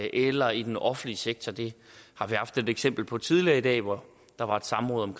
eller i den offentlige sektor det har vi haft et eksempel på tidligere i dag hvor der var et samråd om